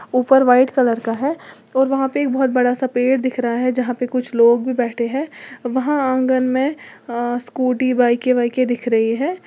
ऊपर white colour का है और वहां पे एक बहुत बड़ा सा पेड़ दिख रहा है यहां पे कुछ लोग भी बैठे है वहां आंगन में अह स्कूटी बाइके वाईके दिख रही है।